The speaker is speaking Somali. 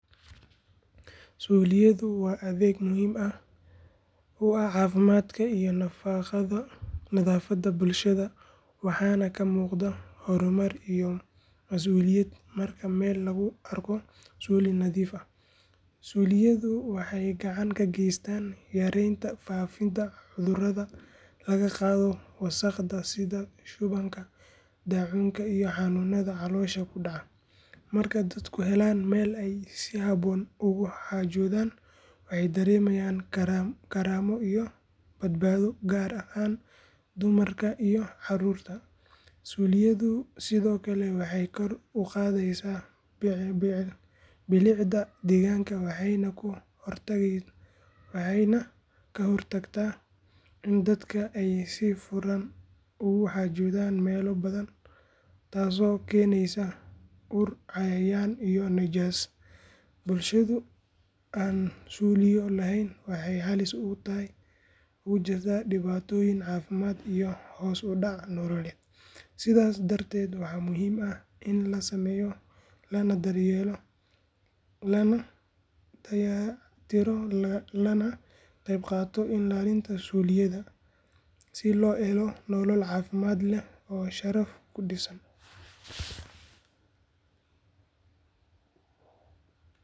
Suuliyadu waa adeeg muhiim u ah caafimaadka iyo nadaafadda bulshada waxaana ka muuqda horumar iyo mas’uuliyad marka meel lagu arko suuli nadiif ah. Suuliyadu waxay gacan ka geysataa yareynta faafidda cudurrada laga qaado wasakhda sida shubanka, daacuunka iyo xanuunada caloosha ku dhaca. Marka dadku helaan meel ay si habboon ugu xaajoodaan waxay dareemayaan karaamo iyo badbaado gaar ahaan dumarka iyo carruurta. Suuliyadu sidoo kale waxay kor u qaadaa bilicda deegaanka waxayna ka hortagtaa in dadka ay si furan ugu xaajoodeen meelo banaan taas oo keenaysa ur, cayayaan iyo nijaas. Bulsho aan suuliyo lahayn waxay halis ugu jirtaa dhibaatooyin caafimaad iyo hoos u dhac nololeed. Sidaas darteed waa muhiim in la sameeyo, la dayactiro lagana qaybqaato ilaalinta suuliyada si loo helo nolol caafimaad leh oo sharaf ku dhisan.